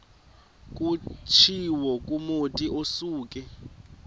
kutshiwo kumotu osuke